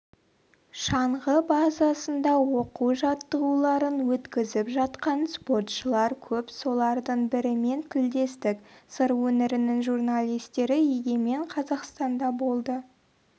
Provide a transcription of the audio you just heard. шаңғы базасында оқу-жаттығуларын өткізіп жатқан спортшылар көп солардың бірімен тілдестік сыр өңірінің журналистері егемен қазақстанда болды